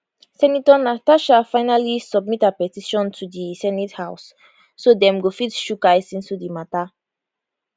senator natasha finally submit her petition to di senate house so dem go fit chook eyes into di matter